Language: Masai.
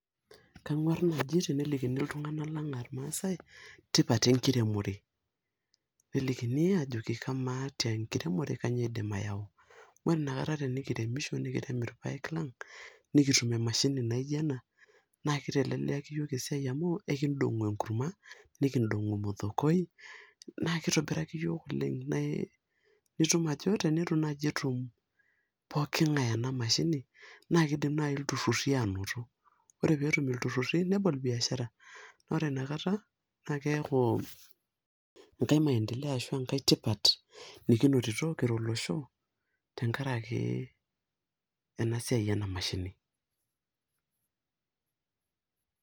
Kangwar naji telikini iltunganak lang aa irmaasae tipat enkiremore , nelikini ajoki kamaa te enkiremore , kainyioo idim ayau . Ore inakata tenikiremisho nikitum irpae lang , nikitum emashini naijo ena , naa kiteleleiaki yiok esiai amu ekidongu enkurma nikidongu ormothokoi naa kitobiraki yiook oleng ,nitum ajo tinitu naji etum pooki ngae ena mashini naa kidim naji iltururi anoto. Ore peetum ilturururi nebol biashara, ore inakata naa keaku enkae maendeleo ashu enkae tipat nikinotito kira olosho tenkaraki ena siai ena mashini.